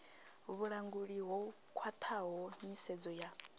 vhulanguli ho khwathaho nyisedzo ya